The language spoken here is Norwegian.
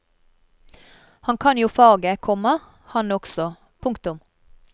Han kan jo faget, komma han også. punktum